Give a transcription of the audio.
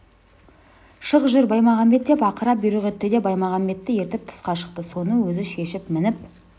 шық жүр баймағамбет деп ақыра бұйрық етті де баймағамбетті ертіп тысқа шықты соны өзі шешіп мініп